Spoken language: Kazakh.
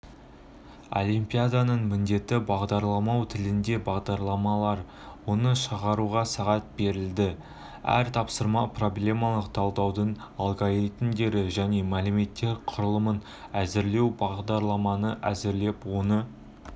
олимпиаданың міндеті бағдарламалау тілінде бағдарламалар оны шығаруға сағат беріледі әр тапсырма проблемалық талдаудан алгоритмдерді және мәліметтер құрылымын әзірлеу бағдарламаны әзірлеп оны